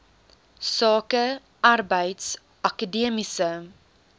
sake arbeids akademiese